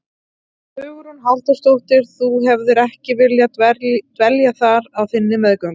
Hugrún Halldórsdóttir: Þú hefðir ekki viljað dvelja þar á þinni meðgöngu?